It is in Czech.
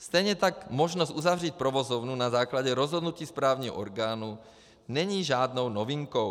Stejně tak možnost uzavřít provozovnu na základě rozhodnutí správního orgánu není žádnou novinkou.